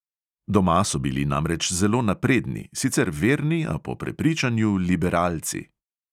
Doma so bili namreč zelo napredni, sicer verni, a po prepričanju liberalci.